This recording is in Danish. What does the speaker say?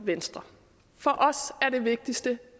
venstre for os er det vigtigste